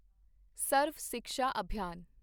ਸਰਵ Shiksha ਅਭਿਆਨ